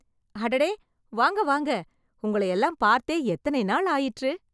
அடடே! வாங்க வாங்க.. உங்களையெல்லாம் பார்த்தே எத்தனை நாள் ஆயிற்று!